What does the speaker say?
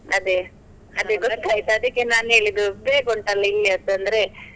ಅದೇ, ಅದೆ ಅದಿಕ್ಕೆ ನಾನ್ ಹೇಳಿದ್ದು ಬೇಗ ಉಂಟಾಲ್ಲ ಇಲ್ಲಿಯದ್ದು ಅಂದ್ರೆ.